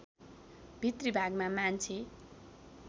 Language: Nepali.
भित्री भागमा मान्छे